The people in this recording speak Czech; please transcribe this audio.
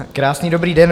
Krásný dobrý den.